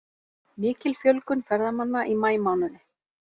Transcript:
Mikil fjölgun ferðamanna í maímánuði